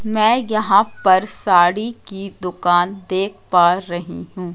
मैं यहां पर साड़ी की दुकान देख पा रही हूं।